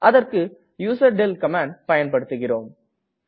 அதற்க்கு யூசர்டெல் கமாண்டை பயன்படுத்துகிறோம்